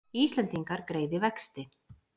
Íslendingar greiði vexti